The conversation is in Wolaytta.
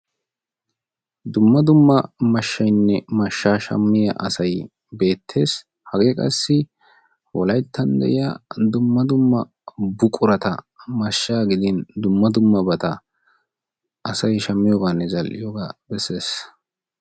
dumma dumma mashshaynne mashshaa shamiya asay beetees. hegee qassi wolayttan de'iya buqurata mashaa gidin dumma dumma asay shamiyoogaa besees.